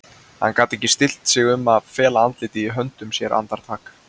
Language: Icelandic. Hann gat ekki stillt sig um að fela andlitið í höndum sér andartak.